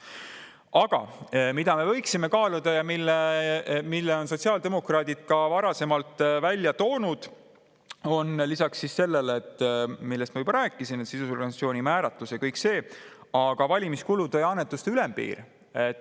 Aga mida me võiksime kaaluda ja mida on sotsiaaldemokraadid ka varasemalt välja toonud lisaks sellele, millest ma juba rääkisin – sidusorganisatsiooni määratlus ja kõik see –, on valimiskulude ja annetuste ülempiir.